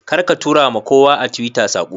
Karka tura ma kowa a Twitter sako